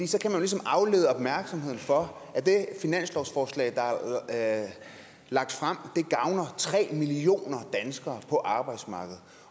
så kan man ligesom aflede opmærksomheden fra at det finanslovsforslag der er lagt frem gavner tre millioner danskere på arbejdsmarkedet